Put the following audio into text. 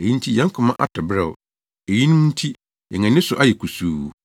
Eyi nti yɛn koma atɔ beraw, eyinom nti yɛn ani so ayɛ kusuu